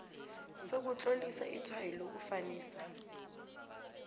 sokutlolisa itshwayo lokufanisa